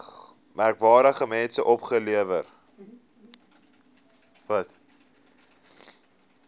merkwaardige mense opgelewer